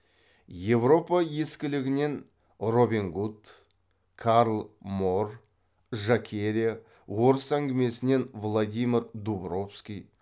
европа ескілігінен робин гуд карл моор жакерия орыс әңгімесінен владимир дубровский